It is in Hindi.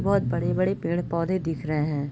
बहोत बड़े-बड़े पेड़-पौधे दिख रहे हैं।